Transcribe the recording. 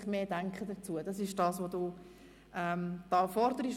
Es liegen somit zwei Anträge vor.